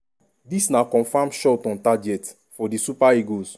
dis na confam shot on target for di super eagles.